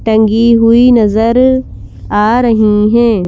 टंगी हुई नजर आ रही हैं।